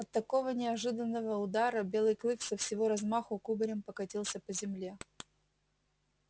от такого неожиданного удара белый клык со всего размаху кубарем покатился по земле